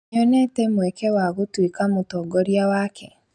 Nĩonete mweke wa gũtuĩka mũtongoria wake